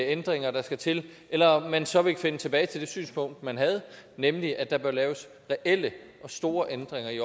ændringer der skal til eller om man så vil finde tilbage til det synspunkt man havde nemlig at der bør laves reelle og store ændringer i